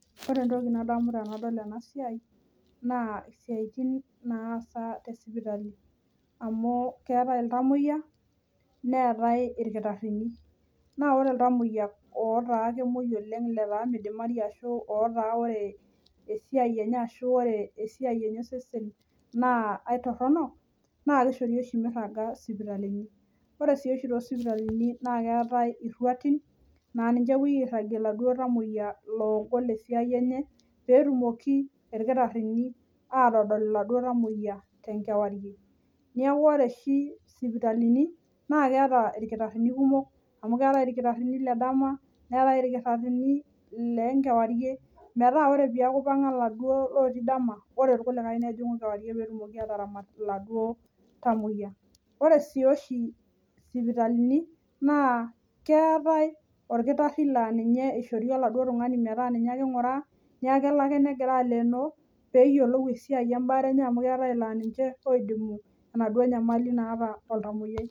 Ore entoki nadamu tenadol enasiai, naa isiaitin naasa tesipitali. Amu keetae iltamoyia, neetae irkitaarrini. Na ore iltamoyia otaa kemoi oleng letaa midimari ashu otaa ore esiai enye ashu ore esiai enye osesen naa aitorrono, naa kishori oshi mirraga sipitalini. Ore si oshi to sipitalini na keetae irruatin, na ninche epoi airragie laduo tamoyia loogol esiai enye, petumoki irkitaarrini atodol iladuo tamoyia tenkewarie. Neeku ore oshi sipitalini, na keeta irkitaarrini kumok amu keetae irkitaarrini ledama, neetae irkitaarrini lenkewarie, metaa ore peku ipang'a laduo lotii dama, ore irkulikae nejing'u kewarie petumoki ataramat iladuo tamoyia. Ore si oshi sipitalini, naa keetae orkitarri laa ninye ishori aladuo tung'ani metaa ninye ake ing'uraa, neku kelo ake negira alenoo, peyiolou esiai ebaare enye amu keetae ilaa ninche oidimu enaduo nyamali naata oltamoyiai.